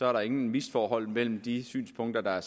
er der ingen misforhold mellem de synspunkter der er